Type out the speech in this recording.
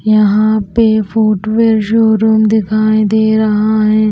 यहां पे footwear showroom दिखाई दे रहा है।